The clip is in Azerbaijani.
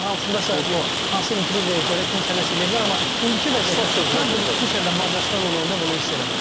Ola bilər indi hansındasa bir hansısa intriqaya görə kimsə nəsə eləyə bilər, amma indiki vəziyyətdə mən bunu xüsusən də Macarıstanla oyunda bunu hiss eləmədim.